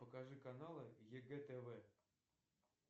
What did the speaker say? покажи каналы егэ тв